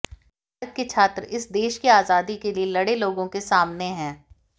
भारत के छात्र इस देश की आजादी के लिए लड़े लोगों के सामने हैं